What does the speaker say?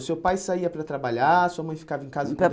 O seu pai saía para trabalhar, sua mãe ficava em casa